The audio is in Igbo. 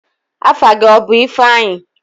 Afa gị ọ bụ ifeanyi?